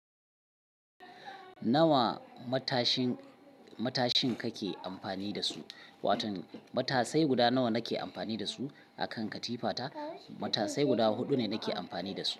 Nawa matashin, matashin kake amfani da su? Wato matasai guda nawa nake amfani da su akan katifa ta? Matasai guda huɗu ne nake amfani da su.